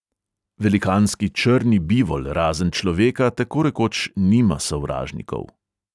Velikanski črni bivol razen človeka tako rekoč nima sovražnikov.